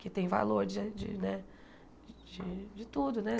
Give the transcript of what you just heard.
Que tem valor de de né de tudo, né?